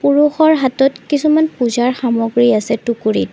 পুৰুষৰ হাতত কিছুমান পূজাৰ সামগ্ৰী আছে টুকুৰীত।